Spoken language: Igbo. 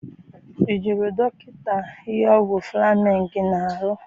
I jụrụ dọkịta ihe ọgwụ Fleming na-arụ?